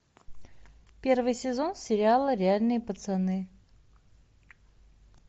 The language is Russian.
первый сезон сериала реальные пацаны